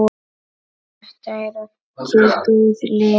Þetta eru allt góð lið.